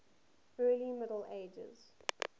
early middle ages